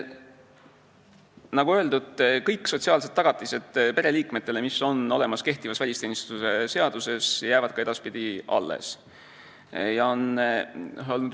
Nagu öeldud, kõik sotsiaalsed tagatised pereliikmetele, mis on olemas kehtivas välisteenistuse seaduses, jäävad ka edaspidi alles.